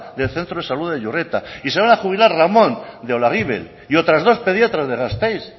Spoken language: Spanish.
del centro de salud de iurreta y se van a jubilar ramón de olaguibel y otras dos pediatras de gasteiz